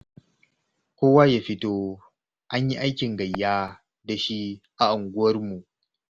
Kowa ya fito an yi aikin gayya da shi a unguwarmu.